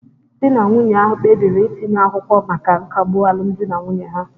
Di na nwunye ahụ kpebiri itinye akwụkwọ maka nkagbu alụmdi na nwunye ha